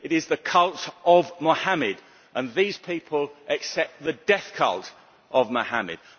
It is the cult of Mohammed, and these people accept the death cult of Mohammed.